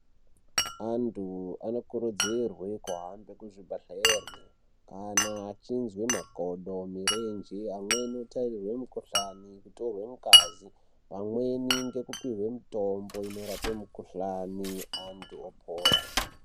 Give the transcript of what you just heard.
Antu anokurudzirwe kuhambe kuzvibhedhlera kana achinzwa makodo, mirenje amweni anotairwe mukhuhlani, kutorwe ngazi vamweni nekupihwe mitombo inorape mikhuhlani antu opora.